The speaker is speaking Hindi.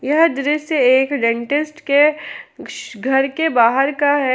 यह दृश्य एक डेंटिस्ट के घर के बाहर का है।